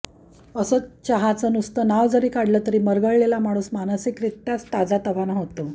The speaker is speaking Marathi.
असं चहाचं नुसतं नाव जरी काढलं तरी मरगळलेला माणूस मानसिकरीत्याच ताजातवाना होतो